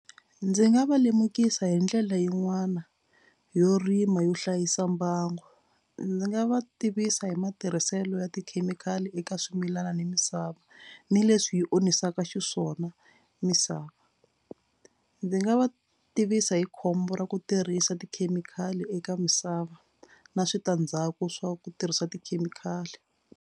Ndzi nga va lemukisa hi ndlela yin'wana yo rima yo hlayisa mbangu. Ndzi nga va tivisa hi matirhiselo ya tikhemikhali eka swimilana ni misava ni leswi yi onhisaka xiswona misava. Ndzi nga va tivisa hi khombo ra ku tirhisa tikhemikhali eka misava na switandzhaku swa ku tirhisa tikhemikhali.